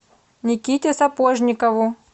никите сапожникову